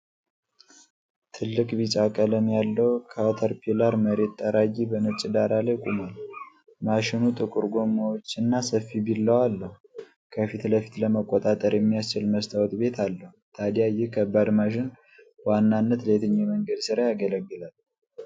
ትልቅ ቢጫ ቀለም ያለው ካተርፒላር መሬት ጠራጊ በነጭ ዳራ ላይ ቆሟል። ማሽኑ ጥቁር ጎማዎችና ሰፊ ቢላዋ አለው፤ ከፊት ለፊት ለመቆጣጠር የሚያስችል መስታወት ቤት አለው። ታዲያ ይህ ከባድ ማሽን በዋናነት ለየትኛው የመንገድ ሥራ ያገለግላል?